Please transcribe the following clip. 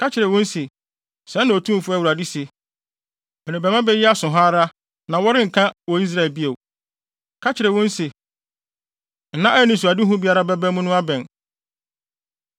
Ka kyerɛ wɔn se, ‘Sɛɛ na Otumfo Awurade se: Merebɛma bɛ yi aso ha ara, na wɔrenka wɔ Israel bio.’ Ka kyerɛ wɔn se, ‘Nna a anisoadehu biara bɛba mu no abɛn.